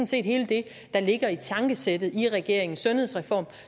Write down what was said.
set hele det der ligger i tankesættet i regeringens sundhedsreform